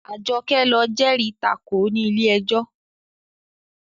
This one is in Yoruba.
Àjọkẹ́ ló jẹ́rìí tako ní ilé ẹjọ́